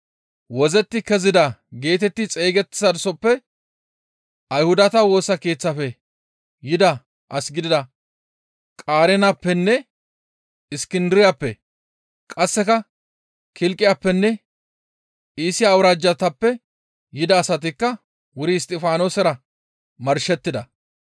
«Wozzetti kezida» geetetti xeygettizasoppe Ayhudata Woosa Keeththafe yida as gidida Qareenappenne Iskindiriyappe; qasseka Kilqiyappenne Iisiya awuraajjatappe yida asatikka wuri Isttifaanosera marshettida.